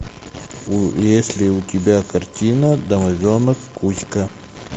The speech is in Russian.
есть ли у тебя картина домовенок кузька